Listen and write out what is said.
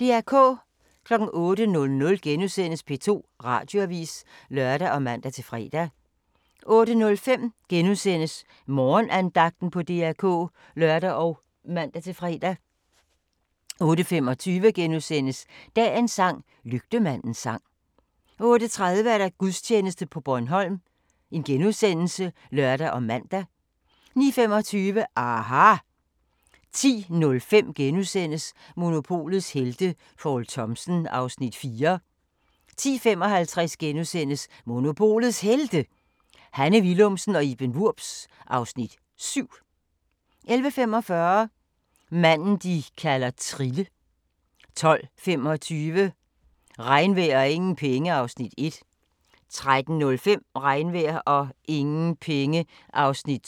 08:00: P2 Radioavis *(lør og man-fre) 08:05: Morgenandagten på DR K *(lør og man-fre) 08:25: Dagens sang: Lygtemandens sang 08:30: Gudstjeneste fra Bornholm *(lør og man) 09:25: aHA! 10:05: Monopolets helte - Poul Thomsen (Afs. 4)* 10:55: Monopolets Helte – Hanne Willumsen og Iben Wurbs (Afs. 7)* 11:45: Manden de kalder Trille 12:25: Regnvejr og ingen penge (Afs. 1) 13:05: Regnvejr og ingen penge (Afs. 2)